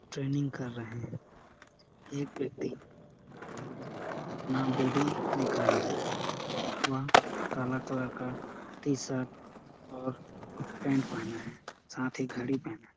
Training कर रहे है एक व्यक्ति अपना बॉडी दिखा रहा है वह काला कलर का टीशर्ट और पैन्ट पहना है साथी घड़ी पहना है ।